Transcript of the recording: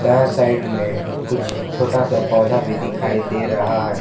यह साइड में कुछ छोटा सा पौधा भी दिखाई दे रहा है।